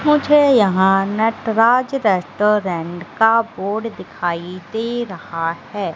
मुझे यहां नटराज रेस्टोरेंट का बोर्ड दिखाइ दे रहा है।